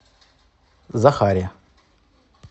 захаре